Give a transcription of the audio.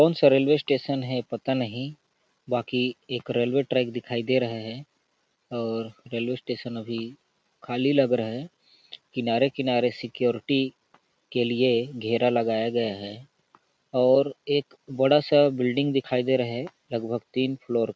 कौन सा railway station है पता नहीं बाकी एक रेलवे ट्रैक दिखाई दे रहे हैं और रेलवे स्टेशन अभी खाली लग रहा है किनारे किनारे सिक्योरिटी के लिए घेरा लगाया गया है और एक बड़ा सा बिल्डिंग दिखाई दे रहे हैं लगभग तीन फ्लोर --